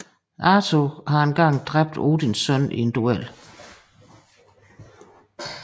Arthur har engang dræbt Odins søn i en duel